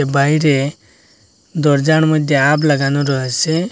বাইরে দরজার মইধ্যে হাফ লাগানো রয়েসে।